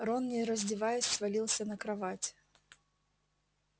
рон не раздеваясь свалился на кровать